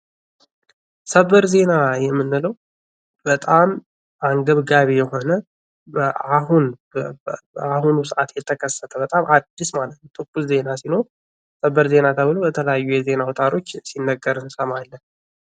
ሰበር ዜና የምንለው በጣም አንገብጋቢ የሆነ በአሁኑ ሰዓት የተከሰተ በጣም አዲስ ማለት ትኩስ ዜና ሲሆነ ሰበር ዜና ተብሎ በተለያዩ የዜና አውታሮች ሲነገር እንሰማለን ።